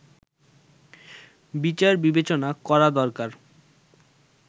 বিচার-বিবেচনা করা দরকার